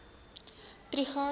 trigardt